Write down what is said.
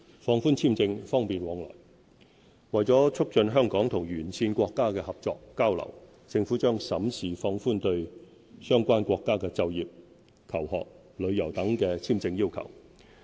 放寬簽證、方便往來為了促進香港與沿線國家的合作交流，政府將審視放寬對相關國家的就業、求學、旅遊等的簽證要求。